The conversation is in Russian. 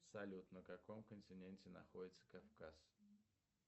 салют на каком континенте находится кавказ